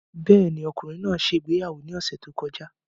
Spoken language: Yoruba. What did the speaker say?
Bẹ́ẹ̀ ni, ọkùnrin náà ṣe ìgbéyàwó ní ọ̀sẹ̀ tó kọjá.